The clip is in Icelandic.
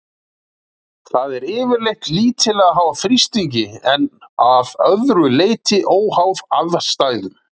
það er yfirleitt lítillega háð þrýstingi en að öðru leyti óháð aðstæðum